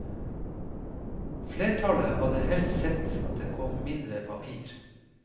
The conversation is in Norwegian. Flertallet hadde helst sett at det kom mindre papir.